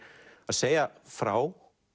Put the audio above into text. að segja frá